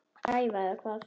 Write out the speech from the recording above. Alger skræfa eða hvað?